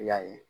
I y'a ye